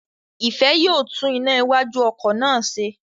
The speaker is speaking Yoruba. Ìfẹ́ yóò tún iná iwájú ọkọ̀ náà ṣe